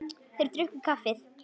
Þeir drukku kaffið.